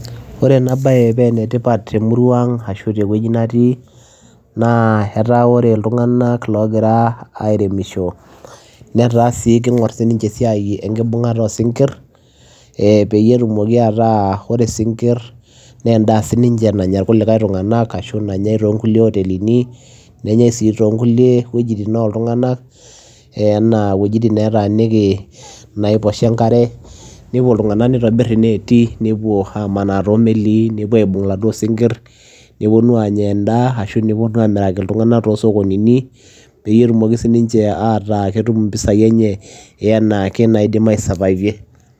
Ore ena bae pe enetipat temurua ang ashu tewueji natii netaa ore iltunganak logira sininche airemisho netaa kibung sininche esiai enkibungata osinkir peyie etumoki ataa ore isinkir naa endaa sininye nanya irkulie tunganak ashu nanye toonkutelini nenyae sii toonkulie wuejitin oltunganak anaa wuejitin netaaniki inaposha enkare. Nepuo iltunganak neitobir inetii , nepuo amanaa toomelii , nepuo aibung iladuoo sinkir , neponu anya endaa ashua neponu amiraki iltunganaka tosokonini peyie etumoki sininche ataa ketum impisai enche eanake naidim aisavavie.